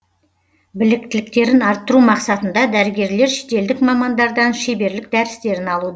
біліктіліктерін арттыру мақсатында дәрігерлер шетелдік мамандардан шеберлік дәрістерін алуда